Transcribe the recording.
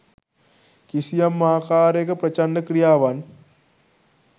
කිසියම් ආකාරයක ප්‍රචණ්ඩ ක්‍රියාවන්